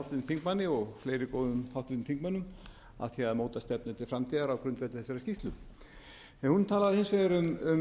þingmanni og fleiri góðum háttvirtum þingmönnum að því að móta stefnu til framtíðar á grundvelli þessarar skýrslu hún talaði hins vegar